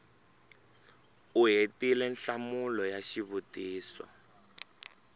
u hetile nhlamulo ya xivutiso